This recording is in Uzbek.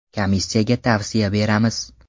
Komissiyaga tavsiya beramiz.